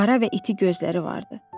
Qara və iti gözləri vardı.